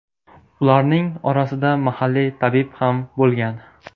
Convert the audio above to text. Ularning orasida mahalliy tabib ham bo‘lgan.